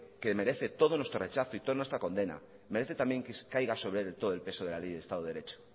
que merece todo nuestro rechazo y toda nuestra condena merece que caiga sobre él todo el peso de la ley del estado de derecho